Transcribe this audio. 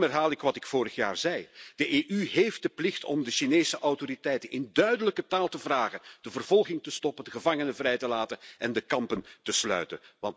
Daarom herhaal ik wat ik vorig jaar zei de EU heeft de plicht om de Chinese autoriteiten in duidelijke taal te vragen de vervolging te stoppen, de gevangenen vrij te laten en de kampen te sluiten.